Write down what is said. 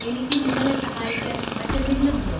എനിക്ക് നിങ്ങളെ സഹായിക്കാൻ മറ്റെന്തെങ്കിലും ഉണ്ടോ?